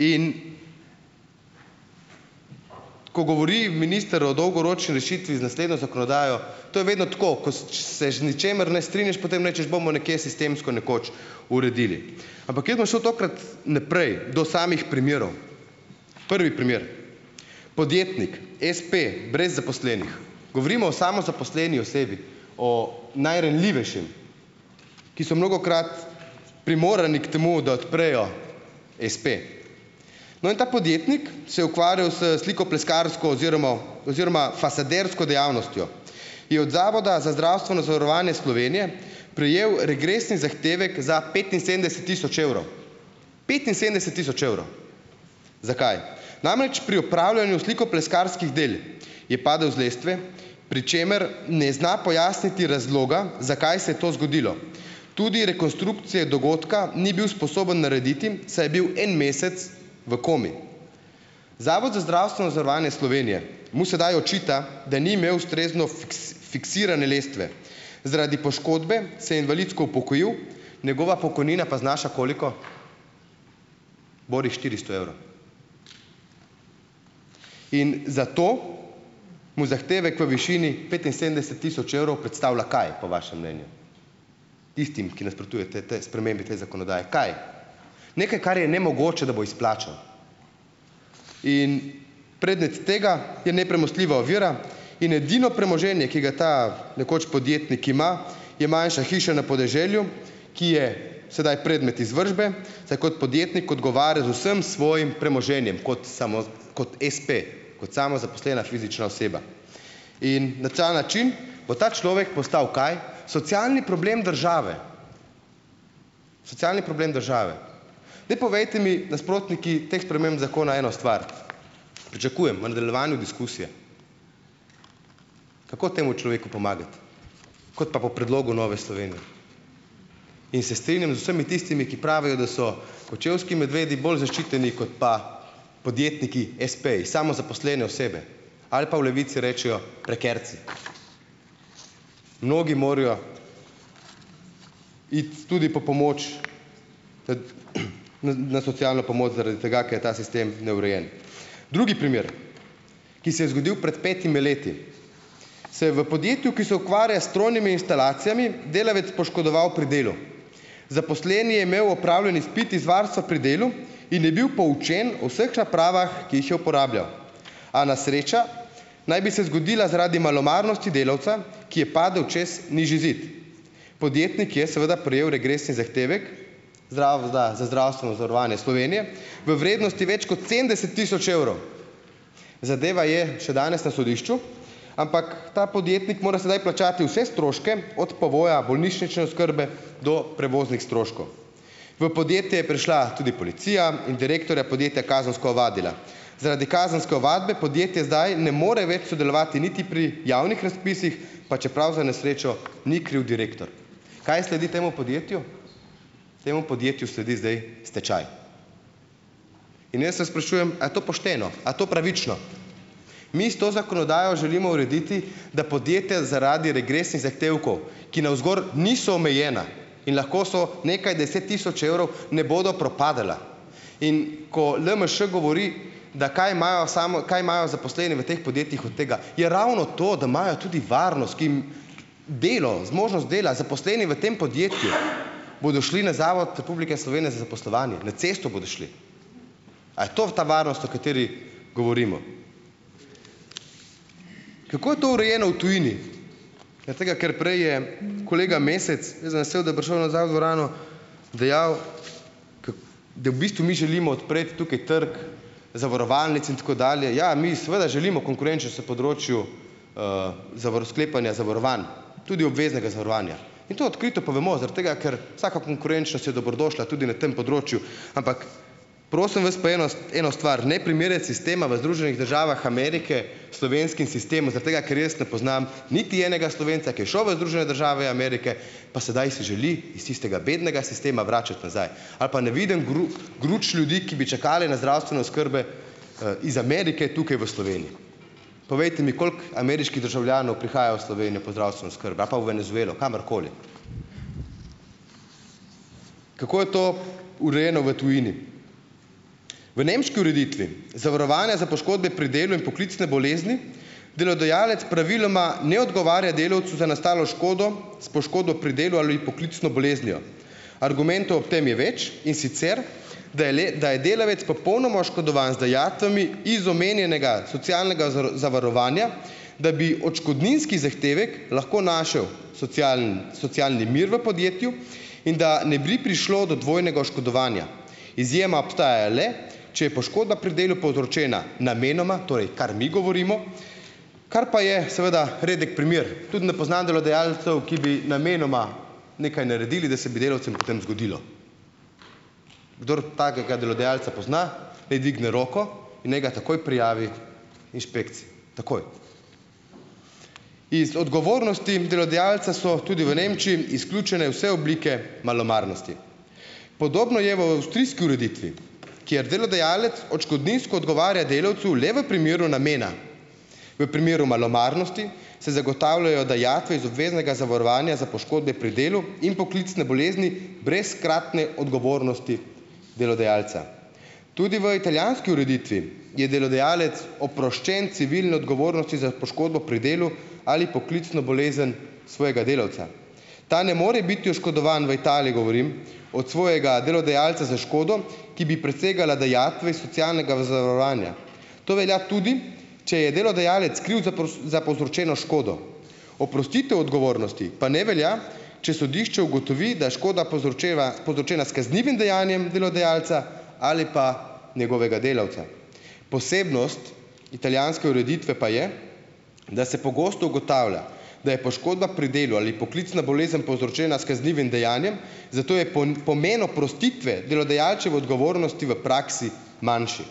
In ko govori minister o dolgoročni rešitvi z naslednjo zakonodajo, to je vedno tako, se z ničimer ne strinjaš, potem rečeš, bomo nekje sistemsko nekoč uredili. Ampak jaz bom šel tokrat naprej, do samih primerov. Prvi primer, podjetnik, espe, brez zaposlenih, govorimo o samozaposleni osebi, o najranljivejšem, ki so mnogokrat primorani k temu, da odprejo espe. No, in ta podjetnik se je ukvarjal s slikopleskarsko oziroma oziroma fasadersko dejavnostjo, je od Zavoda za zdravstveno zavarovanje Slovenije prejel regresni zahtevek za petinsedemdeset tisoč evrov. Petinsedemdeset tisoč evrov. Zakaj? Namreč, pri opravljanju slikopleskarskih del je padel z lestve, pri čemer ne zna pojasniti razloga, zakaj se je to zgodilo. Tudi rekonstrukcije dogodka ni bil sposoben narediti, saj je bil en mesec v komi. Zavod za zdravstveno zavarovanje Slovenije mu sedaj očita, da ni imel ustrezno fiksirane lestve. Zaradi poškodbe se je invalidsko upokojil, njegova pokojnina pa znaša koliko? Borih štiristo evrov. In zato mu zahtevek v višini petinsedemdeset tisoč evrov predstavlja kaj po vašem mnenju? Tistim, ki nasprotujete tej spremembi te zakonodaje. Kaj? Nekaj, kar je nemogoče, da bo izplačal. In predmet tega je nepremostljiva ovira in edino premoženje, ki ga ta, nekoč podjetnik ima je manjša hiša na podeželju, ki je sedaj predmet izvršbe, saj kot podjetnik odgovarja z vsem svojim premoženjem kot kot espe, kot samozaposlena fizična oseba. In na ta način bo ta človek postal - kaj? Socialni problem države. Socialni problem države. Daj povejte mi nasprotniki teh sprememb zakona eno stvar, pričakujem v nadaljevanju diskusije, kako temu človeku pomagati, kot pa po predlogu Nove Slovenije. In se strinjam z vsemi tistimi, ki pravijo, da so kočevski medvedi bolj zaščiteni kot pa podjetniki espeji, samozaposlene osebe ali pa v Levici rečejo prekarci. Mnogi morajo iti tudi po pomoč, na socialno pomoč zaradi tega, ker je ta sistem neurejen. Drugi primer, ki se je zgodil pred petimi leti, se je v podjetju, ki se ukvarja s strojnimi instalacijami, delavec poškodoval pri delu. Zaposleni je imel opravljen izpit iz varstva pri delu in je bil poučen o vseh napravah, ki jih je uporabljal. A nesreča naj bi se zgodila zaradi malomarnosti delavca, ki je padel čez nižji zid. Podjetnik je seveda prejel regresni zahtevek Zavoda za zdravstveno zavarovanje Slovenije v vrednosti več kot sedemdeset tisoč evrov. Zadeva je še danes na sodišču, ampak ta podjetnik mora sedaj plačati vse stroške od povoja, bolnišnične oskrbe do prevoznih stroškov. V podjetje prišla tudi policija in direktorja podjetja kazensko ovadila. Zaradi kazenske ovadbe podjetje zdaj ne more več sodelovati niti pri javnih razpisih, pa čeprav za nesrečo ni kriv direktor. Kaj sledi temu podjetju? Temu podjetju sledi zdaj stečaj. In jaz vas sprašujem, a to pošteno, a to pravično? Mi s to zakonodajo želimo urediti, da podjetja zaradi regresnih zahtevkov, ki navzgor niso omejena in lahko so nekaj deset tisoč evrov, ne bodo propadala. In ko LMŠ govori, da kaj imajo, samo kaj imajo zaposleni v teh podjetjih od tega. Ja, ravno to, da imajo tudi varnost, kim delo, zmožnost dela zaposleni v tem podjetju. Bodo šli na Zavod Republike Slovenije za zaposlovanje, na cesto bodo šli. A je to ta varnost, o kateri govorimo? Kako je to urejeno v tujini? Zaradi tega, ker prej je kolega Mesec, jaz sem vesel, da je prišel nazaj v dvorano, dejal, da v bistvu mi želimo odpreti tukaj trg zavarovalnic in tako dalje. Ja, mi seveda želimo konkurenčnost na področju sklepanja zavarovanj, tudi obveznega zavarovanja. Mi to odkrito povemo zaradi tega, ker vsaka konkurenčnost je dobrodošla tudi na tem področju. Ampak prosim vas pa eno eno stvar, ne primerjati sistema v Združenih državah Amerike slovenskim sistemom zaradi tega, ker jaz ne poznam niti enega Slovenca, ki je šel v Združene države Amerike, pa sedaj si želi iz tistega bednega sistema vračati nazaj. Ali pa ne vidim gruč ljudi, ki bi čakale na zdravstvene oskrbe iz Amerike tukaj v Sloveniji. Povejte mi, koliko ameriških državljanov prihaja v Slovenijo po zdravstveno oskrbo ali pa v Venezuelo, kamorkoli. Kako je to urejeno v tujini? V nemški ureditvi zavarovanja za poškodbe pri delu in poklicne bolezni delodajalec praviloma ne odgovarja delavcu za nastalo škodo s poškodbo pri delu ali poklicno boleznijo. Argumentov ob tem je več, in sicer da je da je delavec popolnoma oškodovan z dajatvami iz omenjenega socialnega zavarovanja, da bi odškodninski zahtevek lahko našel socialni mir v podjetju in da ne bi prišlo do dvojnega oškodovanja. Izjema obstaja le, če je poškodba pri delu povzročena namenoma, torej kar mi govorimo, kar pa je seveda redek primer. Tudi ne poznam delodajalcev, ki bi namenoma nekaj naredili, da se bi delavcem potem zgodilo. Kdor takega delodajalca pozna, naj dvigne roko in naj ga takoj prijavi inšpekciji, takoj. Iz odgovornosti delodajalca so tudi v Nemčiji izključene vse oblike malomarnosti. Podobno je v avstrijski ureditvi, kjer delodajalec odškodninsko odgovarja delavcu le v primeru namena, v primeru malomarnosti se zagotavljajo dajatve iz obveznega zavarovanja za poškodbe pri delu in poklicne bolezni brez hkratne odgovornosti delodajalca. Tudi v italijanski ureditvi je delodajalec oproščen civilne odgovornosti za poškodbo pri delu ali poklicno bolezen svojega delavca. Ta ne more biti oškodovan - v Italiji govorim, od svojega delodajalca za škodo, ki bi presegala dajatve iz socialnega to velja tudi, če je delodajalec kriv za za povzročeno škodo. Oprostitev odgovornosti pa ne velja, če sodišče ugotovi, da škoda povzročena povzročena s kaznivim dejanjem delodajalca ali pa njegovega delavca. Posebnost italijanske ureditve pa je, da se pogosto ugotavlja, da je poškodba pri delu ali poklicna bolezen povzročena s kaznivim dejanjem, zato je pomen oprostitve delodajalčeve odgovornosti v praksi manjši.